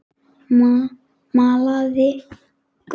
Malaði gull.